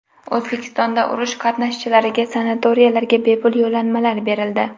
O‘zbekistonda urush qatnashchilariga sanatoriylarga bepul yo‘llanmalar berildi.